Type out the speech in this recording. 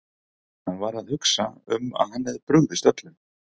Hann var að hugsa um að hann hefði brugðist öllum.